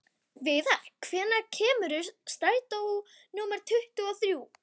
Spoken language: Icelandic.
Viðar, hvenær kemur strætó númer tuttugu og þrjú?